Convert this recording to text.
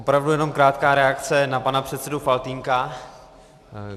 Opravdu jenom krátká reakce na pana předsedu Faltýnka.